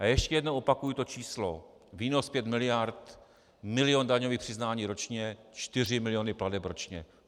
A ještě jednou opakuji to číslo: výnos pět miliard, milion daňových přiznání ročně, čtyři miliony plateb ročně.